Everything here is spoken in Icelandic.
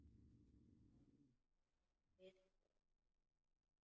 Það vissi hann núna.